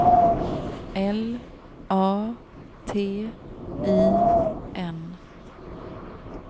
L A T I N